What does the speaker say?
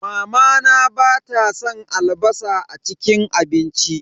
Mamana bata san albasa a cikin abinci.